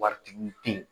Waritigi denw